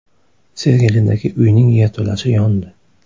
Sergelidagi uyning yerto‘lasi yondi.